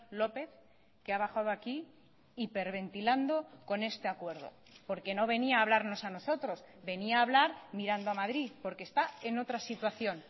lópez que ha bajado aquí hiperventilando con este acuerdo porque no venía a hablarnos a nosotros venía a hablar mirando a madrid porque está en otra situación